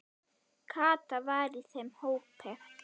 Kata var í þeim hópi.